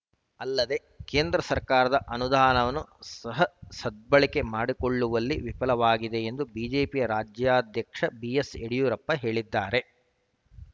ಅಲ್ಲದೇ ಕೇಂದ್ರ ಸರ್ಕಾರದ ಅನುದಾನವನ್ನು ಸಹ ಸದ್ಬಳಕೆ ಮಾಡಿಕೊಳ್ಳುವಲ್ಲಿ ವಿಫಲವಾಗಿದೆ ಎಂದು ಬಿಜೆಪಿ ರಾಜ್ಯಾಧ್ಯಕ್ಷ ಬಿಎಸ್‌ಯಡಿಯೂರಪ್ಪ ಹೇಳಿದ್ದಾರೆ